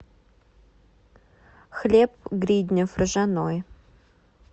хлеб гриднев ржаной